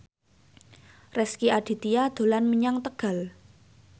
Rezky Aditya dolan menyang Tegal